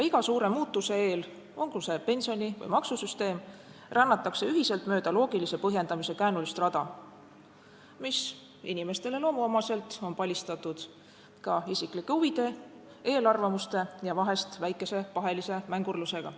Iga suure muutuse eel, olgu see pensioni- või maksusüsteem, rännatakse ühiselt mööda loogilise põhjendamise käänulist rada, mis – inimestele loomuomaselt – on palistatud isiklike huvide, eelarvamuste ja vahest ka väikese pahelise mängurlusega.